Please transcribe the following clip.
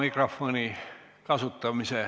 Istungi lõpp kell 17.45.